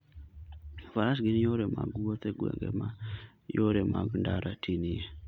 Faras gin yore mag wuoth e gwenge ma yore mag ndara tinie.